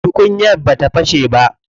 Tukunyar bata fashe ba.